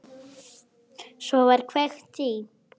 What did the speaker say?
Svo var kveikt í.